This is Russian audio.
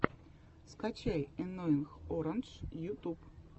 скачай энноинг орандж ютюб